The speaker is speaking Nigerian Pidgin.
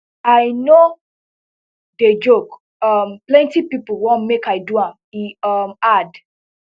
i no dey joke um plenty pipo want make i do am e um add